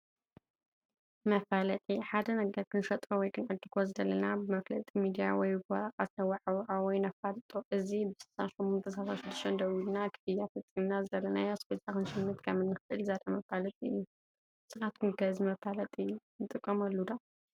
መፋለጢ፡- ሓደ ነገር ክንሸጦ ወይ ክንዕድጎ ዝደለና ብመፍለጢ ሚድያ ወይ ብወረቐት ነዋዓውዖ ወይ ነፋልጦ፡፡ እዚ ብ6836 ደዊልናን ክፍያ ፈፂምናን ዝደለናዮ ኣስቤዛ ክንሽምት ከምንእንኽእል ዘርኢ መፋለጢ እዩ፡፡ ንስኻትኩም ከ እዚ መፋለጢ ንተጠቐምኩሙሉ ዶ?